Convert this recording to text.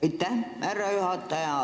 Aitäh, härra juhataja!